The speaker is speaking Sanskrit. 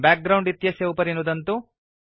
बैकग्राउण्ड इत्येतस्य उपरि नुदन्तु